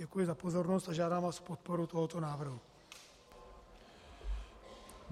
Děkuji za pozornost a žádám vás o podporu tohoto návrhu.